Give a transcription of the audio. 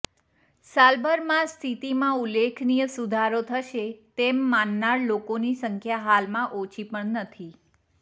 સાલભરમાં સ્થિતીમાં ઉલ્લેખનીય સુધારો થશે તેમ માનનાર લોકોની સંખ્યા હાલમાં ઓછી પણ નથી